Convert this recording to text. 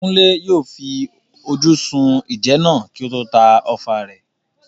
Kunle yóò fi ojú sun ìjẹ náà kí ó tó ta ọfà rẹ̀.